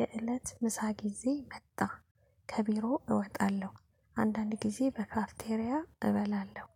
የእለት ምሳ ጊዜ መጣ። ከቢሮ እወጣለሁ፣ አንዳንድ ጊዜ በካፍቴሪያ እበላለሁ።